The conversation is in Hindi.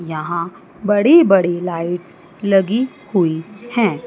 यहां बड़ी बड़ी लाइट्स लगी हुई हैं।